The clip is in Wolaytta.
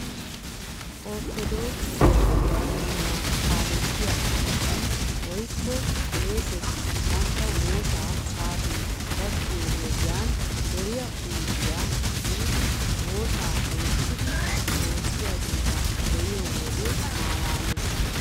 Ortodookise ammanuwaa kaalettiyaa asati woykko qeeseti bantta woosaa saatee gakkiyoo wodiyan deryiaa huuphphiyaa biidi wosaa loyttidi woossiyaageeta be'iyoo wode malaales